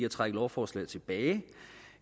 at trække lovforslaget tilbage